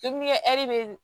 bɛ